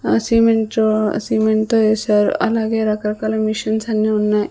ఆ సిమెంట్ రో సిమెంట్తో ఏసారు అలాగే రకరకాల మిషన్స్ అన్నీ ఉన్నాయ్.